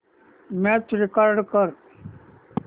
match record कर